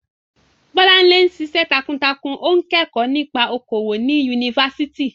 Bolanle ń ṣiṣẹ́ takuntakun, ó ń kẹ́kọ̀ọ́ nípa okòwò ní Yunifásítì.